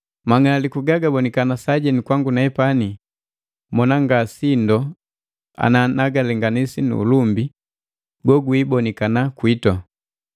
Mang'aliku gagabonikana sajenu kwangu nee mona nga sindo ana nagalenganisi nu ulumbi gogwiibonikana kwiitu.